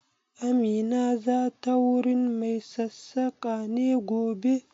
Amina za ta wurin mai sassaƙa ne gobe?